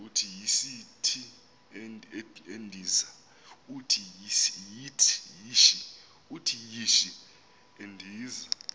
uthi yishi endiza